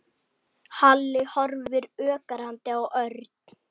Halli horfði ögrandi á Örn.